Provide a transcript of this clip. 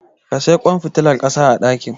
ka siyi kwan fitilar kasa a daki